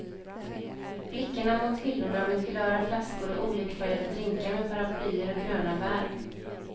Blickarna mot hyllorna med kulörta flaskor och olikfärgade drinkar med paraplyer och gröna bär.